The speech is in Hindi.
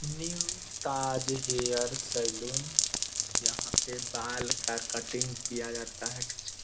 न्यू ताज हेयर सलून यहाँ पे बाल का कटिंग किया जाता है।